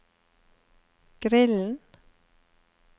grillen